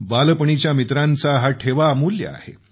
बालपणीच्या मित्रांचा हा ठेवा अमूल्य आहे